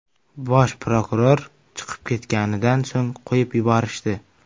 Bosh prokuror chiqib ketganidan so‘ng qo‘yib yuborishdi.